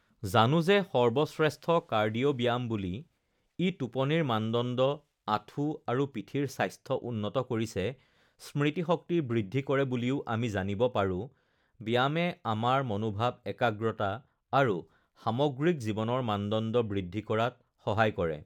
জানো যে সৰ্বশ্ৰেষ্ঠ কাৰ্ডিঅ' ব্যায়াম বুলি ই টোপনিৰ মানদণ্ড আঁঠু আৰু পিঠিৰ স্বাস্থ্য উন্নত কৰিছে স্মৃতি শক্তি বৃদ্ধি কৰে বুলিও আমি জানিব পাৰোঁ ব্যায়ামে আমাৰ মনোভাৱ একাগ্ৰতা আৰু সামগ্ৰিক জীৱনৰ মানদণ্ড বৃদ্ধি কৰাত সহায় কৰে